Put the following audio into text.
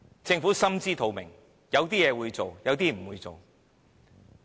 政府心知肚明，有些事它會做，有些事它不會做。